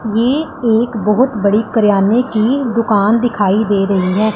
ये एक बहुत बड़ी किराने की दुकान दिखाई दे रही है।